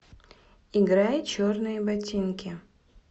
играй черные ботинки